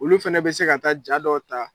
Olu fana bɛ se ka taa jaa dɔw ta.